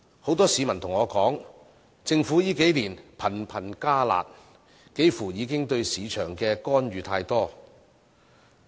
很多市民告訴我，政府這數年頻頻"加辣"，對市場的干預似乎太多。